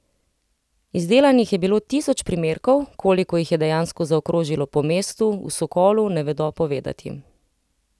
Izdelanih je bilo tisoč primerkov, koliko jih je dejansko zaokrožilo po mestu, v Sokolu ne vedo povedati.